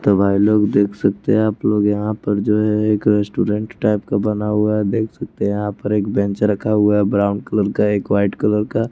तो भाई लोग देख सकते हैं आप लोग यहाँ पर जो है एक रेस्टोरेंट टाइप का बना हुआ है देख सकते हैं यहाँ पर एक बेंच रखा हुआ है ब्रॉउन कलर का एक व्हाइट कलर का।